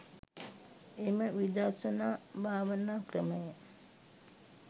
එම විදර්ශනා භාවනා ක්‍රමය